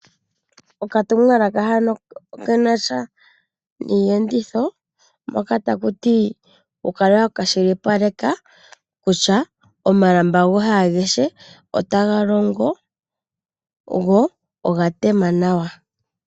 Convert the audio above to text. Okatumwalaka hano okena sha niiyenditho, moka taku ti wu kala wa kwashilipaleka kutya omalamba goye agehe otaga longo, go oga tema nawa.